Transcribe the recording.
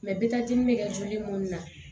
bi taa di bɛ kɛ joli munnu na